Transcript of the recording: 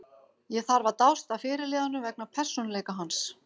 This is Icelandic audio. Ég þarf að dást að fyrirliðanum vegna persónuleika hans.